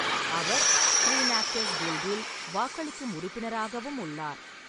அவர் screen actors கில்டில் வாக்களிக்கும் உறுப்பினராகவும் உள்ளார்.